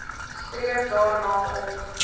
streef daarna om